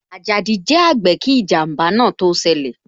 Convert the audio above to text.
Ajadi jẹ àgbè kí ijanba náà tó ṣẹlẹ̀